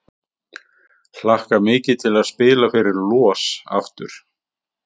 Hlakka mikið til að spila fyrir LOS aftur!